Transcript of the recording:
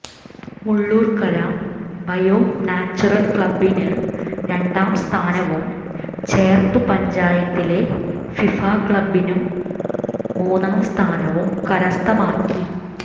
Mullurkara bio natural ക്ലബ്ബിന് രണ്ടാംസ്ഥാനവും ചേർപ്പ് പഞ്ചായത്തിലെ ഫിഫ ക്ലബിനും മൂന്നാംസ്ഥാനവും കരസ്ഥമാക്കി